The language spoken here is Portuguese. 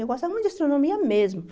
Eu gostava muito de astronomia mesmo.